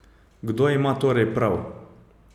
Kdo ima torej prav?